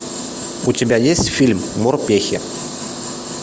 у тебя есть фильм морпехи